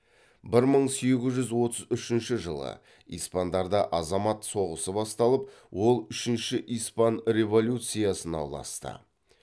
бір мың сегіз жүз отыз үшінші жылы испандарда азамат соғысы басталып ол үшінші испан революциясына ұласты